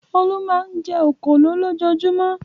Olú máa ń jẹ òkòló lójoojúmọ́.